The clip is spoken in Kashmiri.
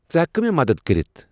ژٕ ہٮ۪ککھٕ مےٚ مَدد کٔرِتھ؟